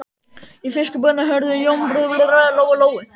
Í fiskbúðinni horfði Jónbjörn undarlega á Lóu Lóu.